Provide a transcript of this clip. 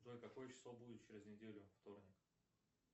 джой какое число будет через неделю вторник